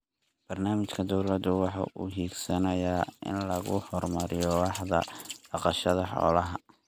Barnaamijka dawladdu waxa uu higsanayaa in lagu horumariyo waaxda dhaqashada xoolaha.